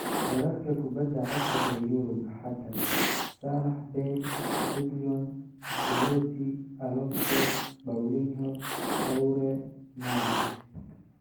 Wararka kubadda cagta ee Yurub Axadda: Salah, Bale, Reguilon, Belotti, Alonso, Paulinho, Toure, March.